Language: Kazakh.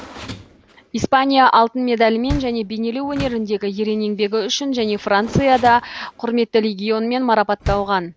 испания алтын медалімен және бейнелеу өнеріндегі ерен еңбегі үшін және францияда құрметті легионмен марапатталған